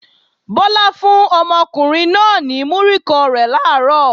Bọ́lá fún ọmọkùnrin náà náà ní múrí kan rẹ̀ làárọ̀